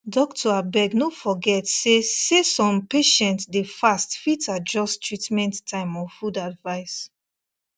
doctor abeg no forget say say some patients dey fast fit adjust treatment time or food advice